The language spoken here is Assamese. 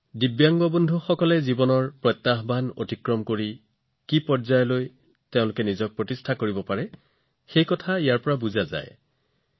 দিব্যাংগ সহকৰ্মীসকলৰ জীৱনত কি প্ৰত্যাহ্বান আছে ইয়াৰ ঊৰ্ধলৈ তেওঁলোকে কত উপনীত হব পাৰে এই চিত্ৰসমূহত এনে বহুতো বিষয় অনুভৱ কৰিব পাৰি